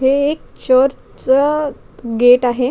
हे एक चर्चच गेट आहे.